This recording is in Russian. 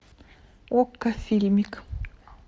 окко фильмик